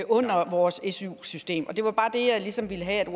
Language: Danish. under vores su system det var bare det jeg ligesom ville have